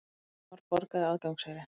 Valdimar borgaði aðgangseyri.